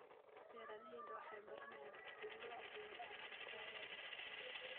Beeraleydu waxay baranayaan sida loo abuuro alaab tayo leh.